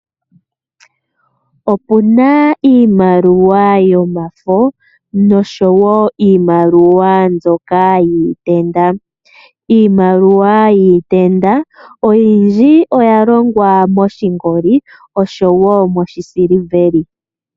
Opuna iimaliwa yomafo nosho woo iimaliwa yiikukutu. Iimaliwa iikukutu oyindji oya longwa moshingoli nosho woo moshisuluveli.